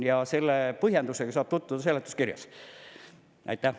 Ja selle põhjendusega saab tutvuda seletuskirja lugedes.